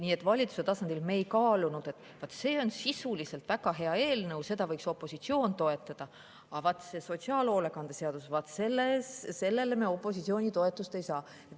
Nii et valitsuse tasandil me ei kaalunud, et vaat, see on sisuliselt väga hea eelnõu, seda võiks opositsioon toetada, aga vaat see on sotsiaalhoolekande seadus ja sellele me opositsiooni toetust ei saa.